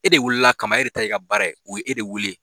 E de welela kama, e de ta y'i ka baara ye. U ye e de wele.